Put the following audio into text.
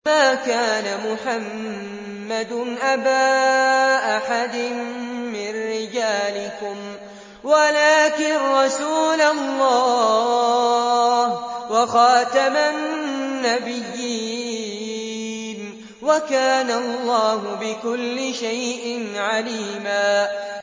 مَّا كَانَ مُحَمَّدٌ أَبَا أَحَدٍ مِّن رِّجَالِكُمْ وَلَٰكِن رَّسُولَ اللَّهِ وَخَاتَمَ النَّبِيِّينَ ۗ وَكَانَ اللَّهُ بِكُلِّ شَيْءٍ عَلِيمًا